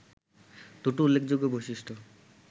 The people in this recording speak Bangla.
দুটো উল্লেখযোগ্য বৈশিষ্ট্য